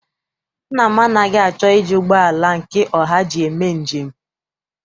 Nna m anaghị achọ iji ụgbọala njem nke ọha eme njem.